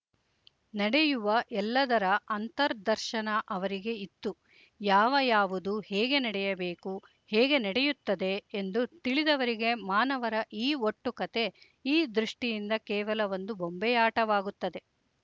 ನಡೆಯುವ ಎಲ್ಲದರ ಅಂತರ್ದರ್ಶನ ಅವರಿಗೆ ಇತ್ತು ಯಾವ ಯಾವುದು ಹೇಗೆ ನಡೆಯಬೇಕು ಹೇಗೆ ನಡೆಯುತ್ತದೆ ಎಂದು ತಿಳಿದವರಿಗೆ ಮಾನವರ ಈ ಒಟ್ಟು ಕತೆ ಈ ದೃಷ್ಟಿಯಿಂದ ಕೇವಲ ಒಂದು ಬೊಂಬೆಯಾಟವಾಗುತ್ತದೆ